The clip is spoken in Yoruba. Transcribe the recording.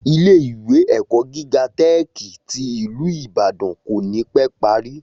Ilé ìwé èkó gíga tẹ́ẹ̀kì tí ìlú Ìbàdàn kò ní pé parí